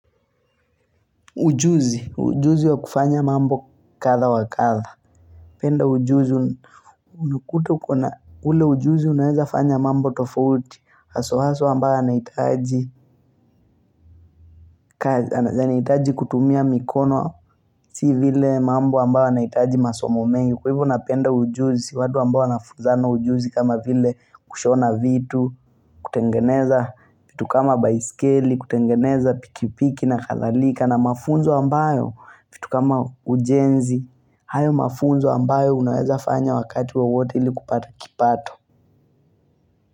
Ujuzi ujuzi wa kufanya mambo kadha wa kadha penda ujuzi Unakuta uko na ule ujuzi unaweza fanya mambo tofauti haswa haswa ambayo yanahitaji yanahitaji kutumia mikono si vile mambo ambayo yanahitaji masomo mengi, kwa hivyo napenda ujuzi, watu ambao wanafuzana ujuzi kama vile kushona vitu kutengeneza vitu kama baiskeli, kutengeneza pikipiki na kadhalika, na mafunzo ambayo, vitu kama ujenzi, hayo mafunzo ambayo unaweza fanya wakati wowote ili kupata kipato.